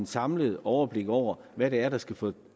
samlet overblik over hvad det er der skal få